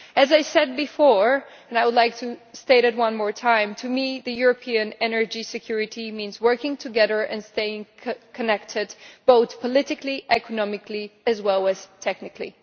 As I said before, and I would like to state it one more time, to me, European energy security means working together and staying connected both politically, economically and technically.